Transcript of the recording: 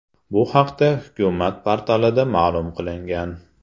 Bu haqda hukumat portalida ma’lum qilingan .